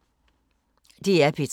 DR P3